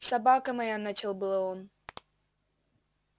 собака моя начал было он